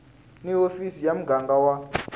ni hofisi ya muganga wa